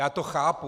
Já to chápu.